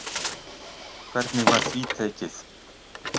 Hvernig var því tekið?